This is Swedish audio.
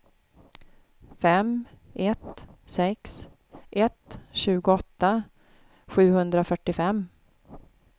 fem ett sex ett tjugoåtta sjuhundrafyrtiofem